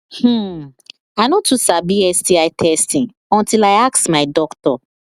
hmmm i no too sabi sti testing until i ask my doctor